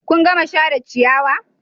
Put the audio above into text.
Kun gama share ciyawa?